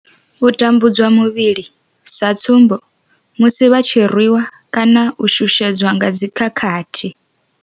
U tambudzwa muvhili, sa tsumbo, musi vha tshi rwi wa kana u shushedzwa nga dzi khakhathi.